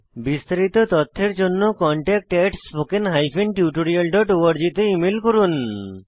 বিস্তারিত তথ্যের জন্য contactspoken tutorialorg তে ইমেল করুন